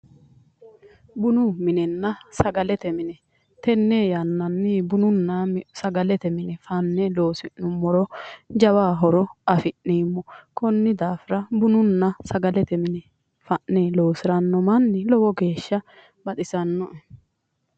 Bunnanna sagalete mine tenne yannanni bununna sagalete mine fanne loosi'nummoro jawa horo afi'neemmo konni daafira bununna sagalete mini fa'ne loosiranno manni lowo geeshsha baxisannoe.